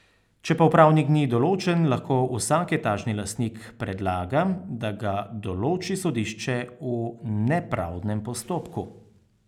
Če pa upravnik ni določen, lahko vsak etažni lastnik predlaga, da ga določi sodišče v nepravdnem postopku.